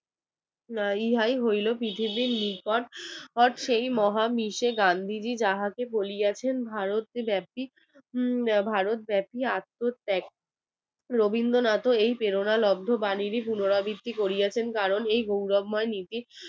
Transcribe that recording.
রবীন্দ্রনাথ এই প্রেরণার বাণীরই পুনরাবৃত্তি করিয়াছেন কারণ এই গৌরবময় নীতির